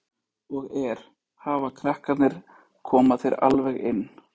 Breki Logason: Og er, hafa krakkarnir, koma þeir alveg inn?